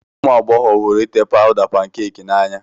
Ụmụ agbọghọ hụrụ ite pawda pankeeki n'anya